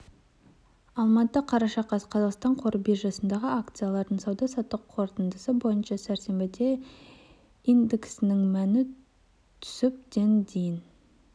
алматы қараша қаз қазақстан қор биржасындағы акциялардың сауда-саттық қорытындысы бойынша сәрсенбіде индексінің мәні түсіп ден дейін